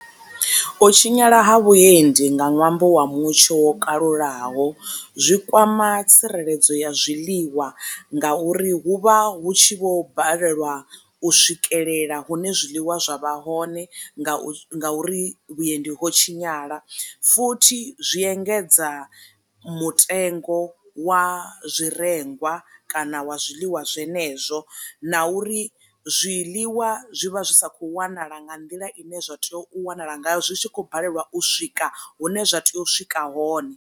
U tshinyala ha vhuendi nga ṅwambo wa mutsho wo kalulaho zwi kwama tsireledzo ya zwiḽiwa nga uri hu vha hu tshi vho balelwa u swikelela hune zwiḽiwa zwa vha hone nga u nga uri vhuendi ho tshinyala, futhi zwi engedza mutengo wa zwi rengwa kana wa zwiḽiwa zwenezwo na uri zwiḽiwa zwi vha zwi sa kho wanala nga nḓila i ne zwa tea u wanala ngayo zwi tshi khou balelwa u swika hune zwa tea u swika hone.